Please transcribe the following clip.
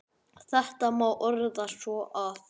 Þetta má orða svo að